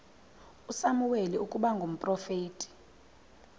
usamuweli ukuba ngumprofeti